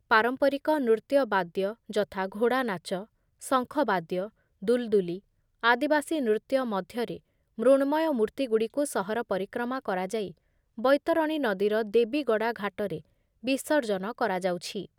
ପାରମ୍ପରିକ ନୃତ୍ୟ ବାଦ୍ୟ ଯଥା ଘୋଡ଼ା ନାଚ, ଶଙ୍ଖ ବାଦ୍ୟ, ଦୁଲଦୁଲି, ଆଦିବାସୀ ନୃତ୍ୟ ମଧ୍ୟରେ ମୃଣ୍ମୟ ମୂର୍ତ୍ତିଗୁଡ଼ିକୁ ସହର ପରିକ୍ରମା କରାଯାଇ ବୈତରଣୀ ନଦୀର ଦେବୀଗଡ଼ା ଘାଟରେ ବିସର୍ଜନ କରାଯାଉଛି ।